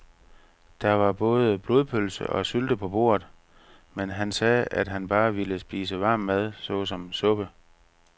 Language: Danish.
Der var både blodpølse og sylte på bordet, men han sagde, at han bare ville spise varm mad såsom suppe.